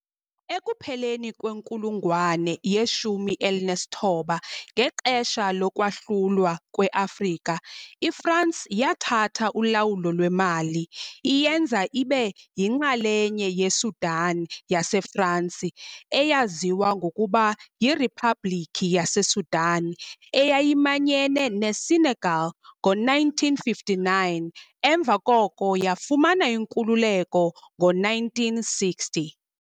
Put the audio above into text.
Ekupheleni kwenkulungwane ye-19, ngexesha lokwahlulwa kweAfrika, iFransi yathatha ulawulo lweMali, iyenza ibe yinxalenye yeSudan yaseFransi, eyaziwa ngokuba yiRiphabhlikhi yaseSudan, eyayimanyene neSenegal ngo-1959, emva koko yafumana inkululeko ngo-1960.